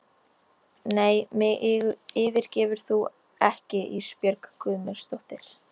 Nei mig yfirgefur þú ekki Ísbjörg Guðmundsdóttir.